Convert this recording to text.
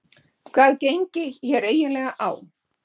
Hvað gengi hér eiginlega á?